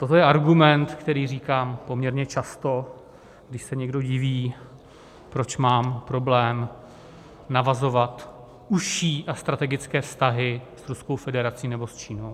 Toto je argument, který říkám poměrně často, když se někdo diví, proč mám problém navazovat užší a strategické vztahy s Ruskou federací nebo s Čínou.